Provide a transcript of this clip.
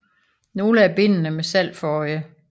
Nogle af bindene med salg for øje